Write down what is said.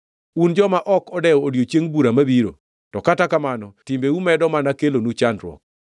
Un joma ok odewo odiechieng bura mabiro, to kata kamano timbeu medo mana kelonu chandruok!